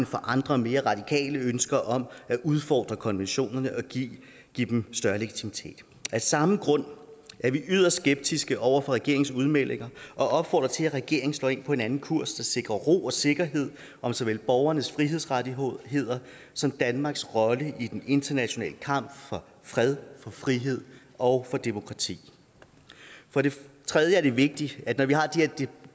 for andre og mere radikale ønsker om at udfordre konventionerne og give dem større legitimitet af samme grund er vi yderst skeptiske over for regeringens udmeldinger og opfordrer til at regeringen slår ind på en anden kurs der sikrer ro og sikkerhed om såvel borgernes frihedsrettigheder som danmarks rolle i den internationale kamp for fred og frihed og for demokrati for det tredje er det vigtigt at vi når vi har de her